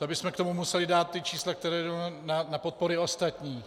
To bychom k tomu museli dát ta čísla, která jdou na podpory ostatních.